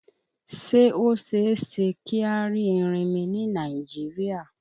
Ṣé ó ṣeéṣe kí a rí erinmi ni Nàìjíríà?